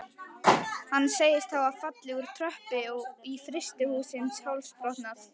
Hann segist hafa fallið úr tröppu í frystihúsi og hálsbrotnað.